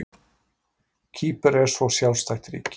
Kýpur er svo sjálfstætt ríki.